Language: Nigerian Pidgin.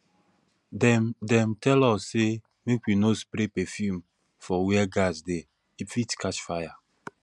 dem dem tell us sey make we no spray perfume for where gas dey e fit catch fire